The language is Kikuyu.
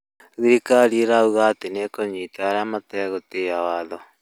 Thirikari ĩrauga atĩ nĩ ĩkũnyita arĩa mategũtĩa watho